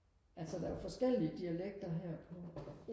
altså der er jo forskellige dialekter her på